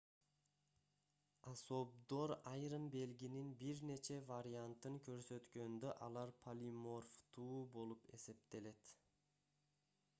особдор айрым белгинин бир нече вариантын көрсөткөндө алар полиморфтуу болуп эсептелет